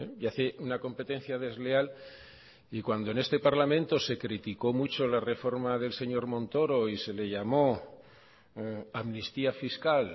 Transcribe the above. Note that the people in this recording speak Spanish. y hace una competencia desleal y cuando en este parlamento se criticó mucho la reforma del señor montoro y se le llamó amnistía fiscal